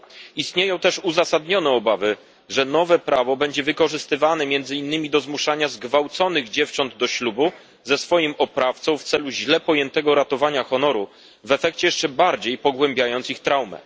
Istnieją też uzasadnione obawy, że nowe prawo będzie wykorzystywane między innymi do zmuszania zgwałconych dziewcząt do ślubu ze swoim oprawcą w celu źle pojętego ratowania honoru, w efekcie jeszcze bardziej pogłębiając ich traumę.